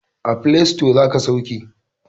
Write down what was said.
A file sito za ka sauke.